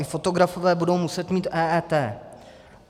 I fotografové budou muset mít EET.